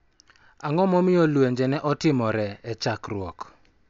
Ang�o momiyo lwenje ne otimore e chakruok